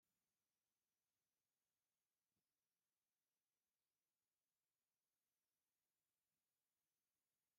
እዚ ምስሊ እዚ ኣብ ጥቃ ገዛና ብቀረባ እንረክቦ ኣስበዛ እዩ። እዚ ኣስቤዛ እዚ ድማ ብዓቅምና ኣብ ቀረባ እንረክቦ እንትኮን ኣብዚ ዘለዉ ኣስቤዛ ድማ